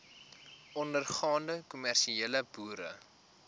ondergaande kommersiële boere